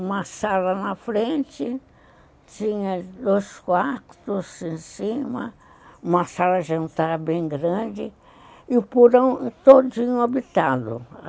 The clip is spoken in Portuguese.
Uma sala na frente, tinha dois quartos em cima, uma sala de jantar bem grande e o porão todinho habitado.